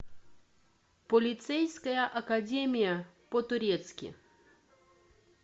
полицейская академия по турецки